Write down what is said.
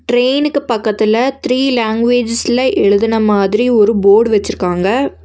ட்ரெயினுக்கு பக்கத்துல த்ரீ லாங்குவேஜஸ்ல எழுதுன மாதிரி ஒரு போர்டு வச்சிருக்காங்க.